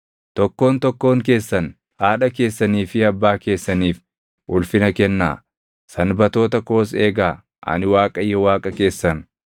“ ‘Tokkoon tokkoon keessan haadha keessanii fi abbaa keessaniif ulfina kennaa; Sanbatoota koos eegaa. Ani Waaqayyo Waaqa keessan.